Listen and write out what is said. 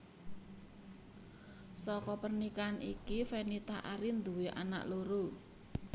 Saka pernikahan iki Fenita Arie nduwé anak loro